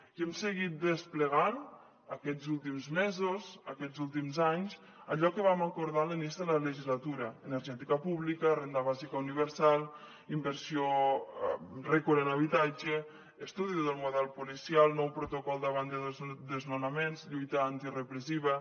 i hem seguit desplegant aquests últims mesos aquests últims anys allò que vam acordar a l’inici de la legislatura energètica pública renda bàsica universal inversió rècord en habitatge estudi del model policial nou protocol davant de desnonaments lluita antirepressiva